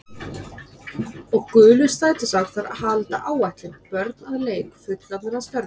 Og gulur strætisvagn þarf að halda áætlun, börn að leik, fullorðnir að störfum.